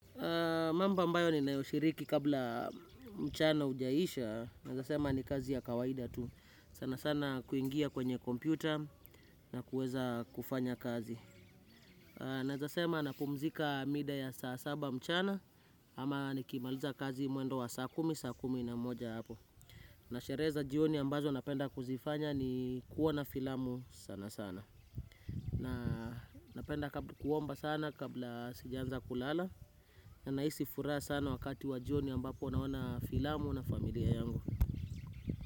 Mambo ambayo ni nayoshiriki kabla mchana hujaisha nawezasema ni kazi ya kawaida tu. Sana sana kuingia kwenye kompyuta na kuweza kufanya kazi. Naezasema na pumzika mida ya saa saba mchana ama nikimaliza kazi mwendo wa saa kumi saa kumi na moja hapo. Nasherehe za jioni ambazo napenda kuzifanya ni kuona filamu sana sana. Na napenda kuomba sana kabla sijanza kulala. Na nahisi furaha sana wakati wa jioni ambapo naona filamu na familia yangu.